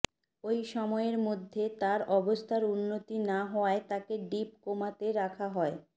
ওই সময়ের মধ্যে তার অবস্থার উন্নতি না হওয়ায় তাকে ডিপ কোমাতে রাখা হয়